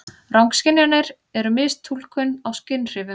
Rangskynjanir eru mistúlkun á skynhrifum.